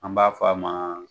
An b'a fɔ a ma